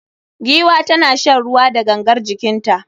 Giwa tana shan ruwa da gangar jikinta